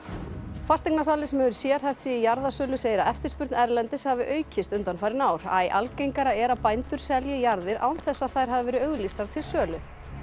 fasteignasali sem hefur sérhæft sig í jarðasölu segir að eftirspurn erlendis frá hafi aukist undanfarin ár æ algengara er að bændur selji jarðir án þess að þær hafi verið auglýstar til sölu